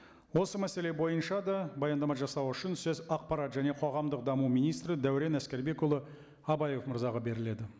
осы мәселе бойынша да баяндама жасау үшін сөз ақпарат және қоғамдық даму министрі дәурен әскербекұлы абаев мырзаға беріледі